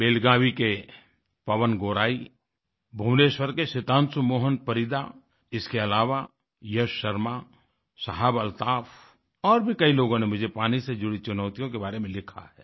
बेलगावी Belagaviके पवन गौराई भुवनेश्वर के सितांशू मोहन परीदा इसके अलावा यश शर्मा शाहाब अल्ताफ और भी कई लोगों ने मुझे पानी से जुड़ी चुनौतियों के बारे में लिखा है